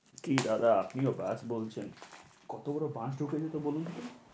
কী দাদা, আপনিও ব্যাস বলছেন। কত বড় বাঁশ ঢুকে দিত বলুন তো?